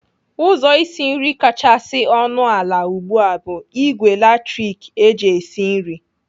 Ụzọ isi nri kachasị ọnụ ala ugbu a bụ ìgwè latrik eji esi nri.